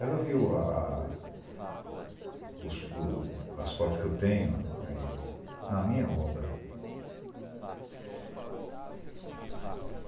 Ela viu a a os o as fotos que eu tenho aí na minha obra.